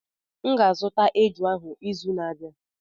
M ga-azụta eju ahụ n'izu na-abịa.